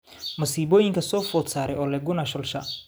Masiibooyinka soo food saaray Ole Gunnar Solskjaer